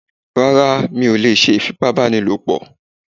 Rárá mi ò lè ṣe ìfipábáni lòpọ̀